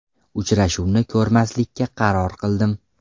Uchrashuvni ko‘rmaslikka qaror qildim.